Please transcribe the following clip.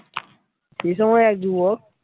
সেই সময় এক যুবক